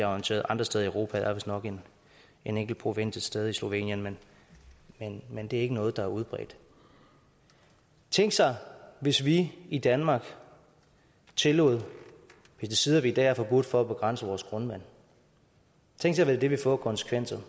orienteret andre steder i europa der er vistnok en enkelt provins et sted i slovenien men det er ikke noget der er udbredt tænk sig hvis vi i danmark tillod pesticider vi i dag har forbudt for at begrænse vores grundvand tænk sig hvad det ville få af konsekvenser